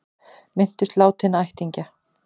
Minntust látinna ættingja